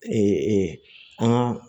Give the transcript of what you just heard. an ka